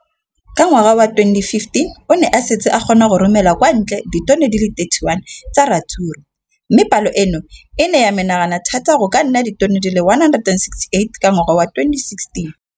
Ka ngwaga wa 2015, o ne a setse a kgona go romela kwa ntle ditone di le 31 tsa ratsuru mme palo eno e ne ya menagana thata go ka nna ditone di le 168 ka ngwaga wa 2016.